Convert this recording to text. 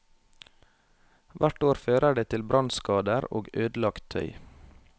Hvert år fører det til brannskader og ødelagt tøy.